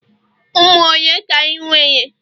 ụmụ ole ka ị nwere?